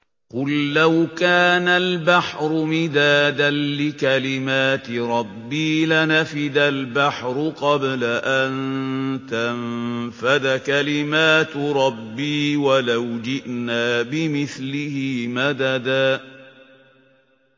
قُل لَّوْ كَانَ الْبَحْرُ مِدَادًا لِّكَلِمَاتِ رَبِّي لَنَفِدَ الْبَحْرُ قَبْلَ أَن تَنفَدَ كَلِمَاتُ رَبِّي وَلَوْ جِئْنَا بِمِثْلِهِ مَدَدًا